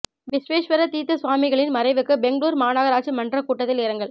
விஸ்வேஷ்வர தீா்த்த சுவாமிகளின் மறைவுக்கு பெங்களூரு மாநகராட்சி மன்றக் கூட்டத்தில் இரங்கல்